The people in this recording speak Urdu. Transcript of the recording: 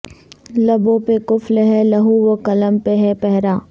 لبوں پہ قفل ہے لوح و قلم پہ ہے پہرا